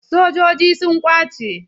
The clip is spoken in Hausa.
Sojoji sun ƙwace?